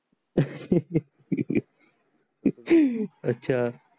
अच्छा.